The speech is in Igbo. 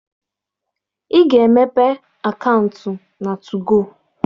Ị ga-emepe akaụntụ na 2go!